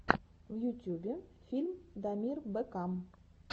в ютюбе фильм дамир бэкам